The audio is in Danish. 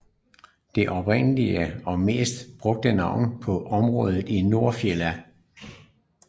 Det oprindelige og mest brugte navn på området er Nordfjella